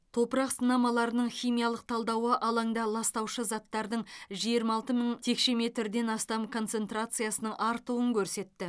топырақ сынамаларының химиялық талдауы алаңда ластаушы заттардың жиырма алты мың текше метрден астам концентрациясының артуын көрсетті